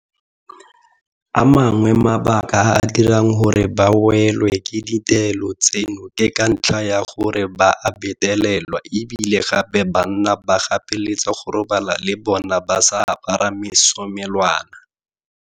A mangwe a mabaka a a dirang gore ba welwe ke dintelo tseno ke ka ntlha ya gore ba a betelelwa e bile gape banna ba gapeletsa go robala le bona ba sa apara mesomelwana.